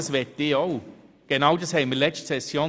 Ich bitte Sie, kurz im Saal zu bleiben.